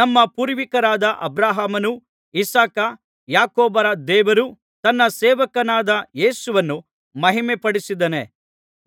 ನಮ್ಮ ಪೂರ್ವಿಕರಾದ ಅಬ್ರಹಾಮ ಇಸಾಕ ಯಾಕೋಬರ ದೇವರು ತನ್ನ ಸೇವಕನಾದ ಯೇಸುವನ್ನು ಮಹಿಮೆಪಡಿಸಿದ್ದಾನೆ